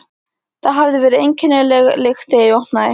Það hafði verið einkennileg lykt þegar ég opnaði.